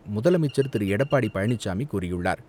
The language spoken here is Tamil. முதலமைச்சர் திரு எடப்பாடி பழனிசாமி கூறியுள்ளார்.